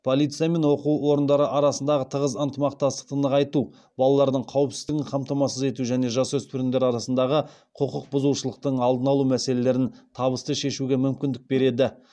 полиция мен оқу орындары арасындағы тығыз ынтымақтастықты нығайту балалардың қауіпсіздігін қамтамасыз ету және жасөспірімдер арасындағы құқық бұзушылықтың алдын алу мәселелерін табысты шешуге мүмкіндік береді